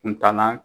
Kuntaala